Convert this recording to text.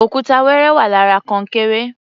Òkúta wẹrẹ wà lára kọnkéré.